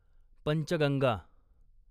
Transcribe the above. Panchganga